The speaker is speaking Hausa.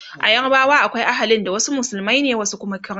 a yarbawa akwai ahalin da wasu musulmai ne wasu Kuma Krista